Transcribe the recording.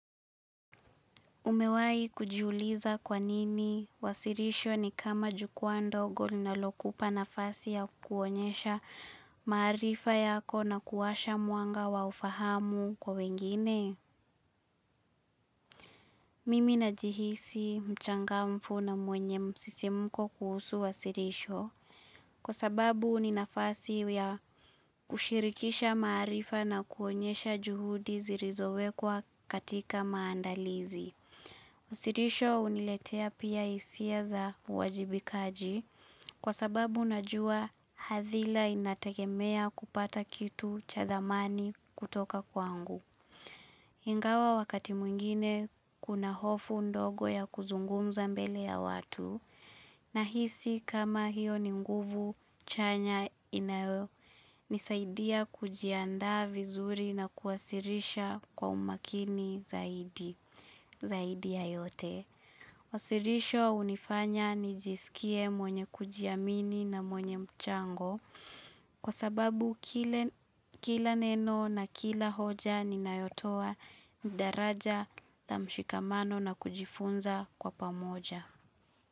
Umewai kujiuliza kwanini wasirisho ni kama jukuwa ndogo ninalokupa nafasi ya kuonyesha maarifa yako na kuwasha mwanga wa ufahamu kwa wengine. Mimi na jihisi mchangamfu na mwenye msisimuko kuhusu wasirisho kwa sababu ninafasi ya kushirikisha marifa na kuonyesha juhudi zirizowe kwa katika maandalizi. Usirisho uniletea pia isia za wajibikaji kwa sababu najua hadhila inatekemea kupata kitu cha dhamani kutoka kwangu. Ingawa wakati mwingine kuna hofu ndogo ya kuzungumza mbele ya watu na hisi kama hiyo ni mguvu chanya inawe nisaidia kujianda vizuri na kuwasirisha kwa umakini zaidi zaidi ya yote. Wasirisho unifanya nijisikie mwenye kujiamini na mwenye mchango kwa sababu kila neno na kila hoja ni nayotoa ndaraja na mshikamano na kujifunza kwa pamoja.